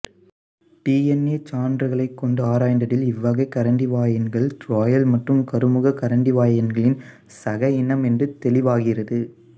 DNA சான்றுகளைக்கொண்டு ஆராய்ந்ததில் இவ்வகை கரண்டிவாயன்கள் ராயல் மற்றும் கருமுக கரண்டிவாயன்களின் சக இனம் என்று தெளிவாகிறது